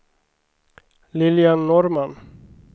Lilian Norrman